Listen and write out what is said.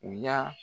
U y'a